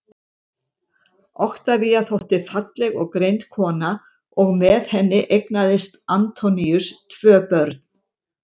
oktavía þótti falleg og greind kona og með henni eignaðist antoníus tvö börn